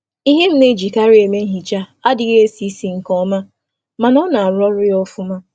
Ngwa nhicha m masịrị m enweghị isi na-esi ike, ma na-arụ ọrụ nke ọma.